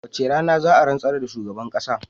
Wacce rana za a rantsar da shugaban kasan?